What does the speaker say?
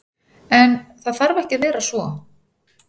En, það þarf ekki að vera svo.